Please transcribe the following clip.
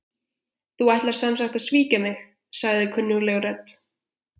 Þú ætlar sem sagt að svíkja mig- sagði kunnugleg rödd.